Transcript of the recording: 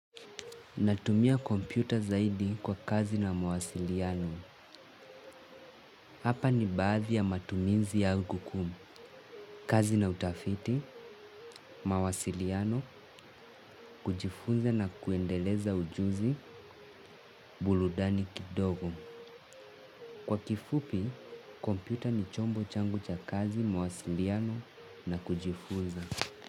Natumia kompyuta zaidi kwa kazi na mawasiliano. Hapa ni baadhi ya matuminzi ya huku kumu. Kazi na utafiti, mawasiliano, kujifunza na kuendeleza ujuzi, burudani kidogo. Kwa kifupi, kompyuta ni chombo changu cha kazi, mawasiliano na kujifunza.